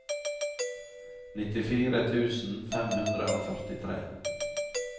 nittifire tusen fem hundre og førtitre